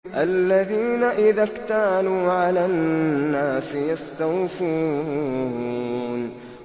الَّذِينَ إِذَا اكْتَالُوا عَلَى النَّاسِ يَسْتَوْفُونَ